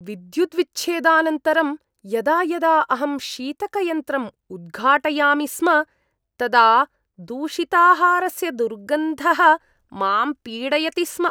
विद्युद्विच्छेदानन्तरं यदा यदा अहं शीतकयन्त्रम् उद्घाटयामि स्म, तदा दूषिताहारस्य दुर्गन्धः मां पीडयति स्म।